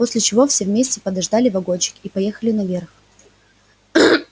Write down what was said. после чего все вместе подождали вагончик и поехали наверх